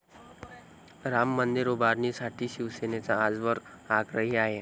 राम मंदिर उभारणीसाठी शिवसेना आजवर आग्रही आहे.